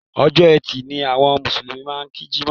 Ọjọ́ Ẹtì ni àwọn Mùsùlùmí máà ń kí Jímọ̀.